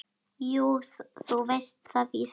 Jú, þú veist það víst.